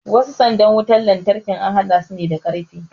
wasu sanda din wutar lantarkin an haɗa su ne da karfe